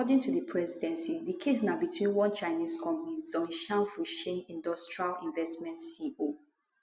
according to di presidency di case na between one chinese company zhongshan fucheng industrial investment co